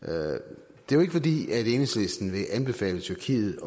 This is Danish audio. det er jo ikke fordi enhedslisten vil anbefale tyrkiet